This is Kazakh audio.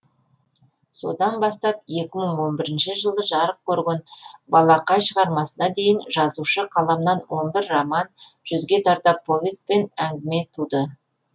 содан бастап екі мың он бірінші жылы жарық көрген балақай шығармасына дейін жазушы қаламынан он бір роман жүзге тарта повесть пен әңгімелер туды